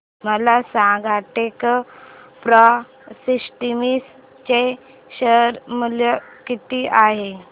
मला सांगा Techpro Systems चे शेअर मूल्य किती आहे